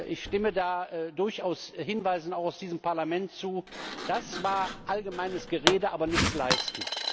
Ich stimme da durchaus Hinweisen auch aus diesem Parlament zu Das war allgemeines Gerede, aber nichts geleistet.